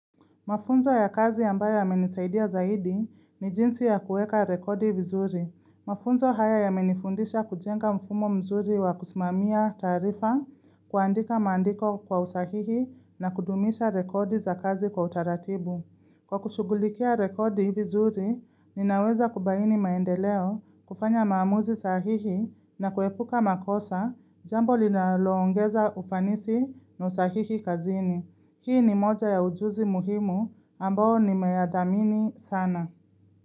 Mafunzo ya kazi ambayo yamenisaidia zaidi ni jinsi ya kueka rekodi vizuri. Mafunzo haya ya menifundisha kujenga mfumo mzuri wa kusimamia tarifa kuandika mandiko kwa usahihi na kudumisha rekodi za kazi kwa utaratibu. Kwa kushugulikia rekodi vizuri, ninaweza kubaini maendeleo, kufanya maamuzi sahihi na kuepuka makosa jambo linaloongeza ufanisi na usahihi kazini. Hii ni moja ya ujuzi muhimu ambao ni meyadhamini sana.